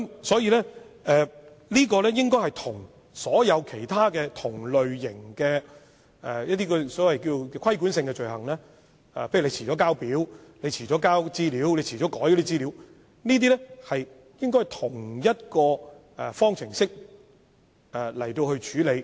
所以，這些罪行與其他同類型的規管性罪行，例如遲了遞交表格或遲了更改資料，應該以同一方式來處理。